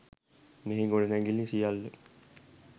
මෙහි ගොඩනැඟිලි සියල්ල